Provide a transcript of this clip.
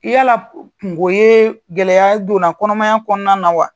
yala kungo ye gɛlɛya donna kɔnɔmaya kɔnɔna na wa?